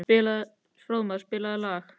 Fróðmar, spilaðu lag.